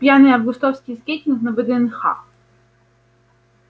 пьяный августовский скейтинг на вднх